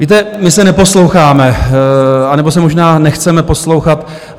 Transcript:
Víte, my se neposloucháme, anebo se možná nechceme poslouchat.